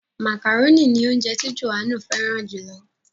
Màkàrónì ni ounjẹ ti Johannu fẹràn jù lọ.